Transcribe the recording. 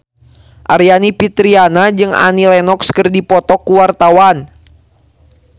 Aryani Fitriana jeung Annie Lenox keur dipoto ku wartawan